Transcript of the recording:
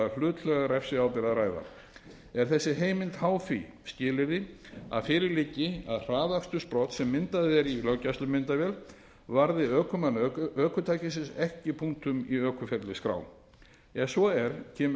hlutlæga refsiábyrgð að ræða er þessi heimild háð því skilyrði að fyrir liggi að hraðakstursbrot sem myndað er í löggæslumyndavél varði ökumann ökutækisins ekki punktum í ökuferilsskrá ef svo er kemur